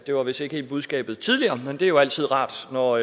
det var vist ikke helt budskabet tidligere men det er jo altid rart når